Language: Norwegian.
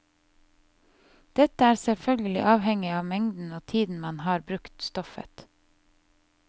Dette er selvfølgelig avhengig av mengden og tiden man har brukt stoffet.